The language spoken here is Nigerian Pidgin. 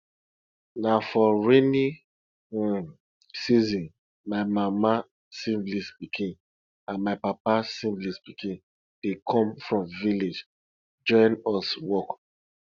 na for rainy um season my mama siblings pikin and my papa siblings pikin dey come from village join us work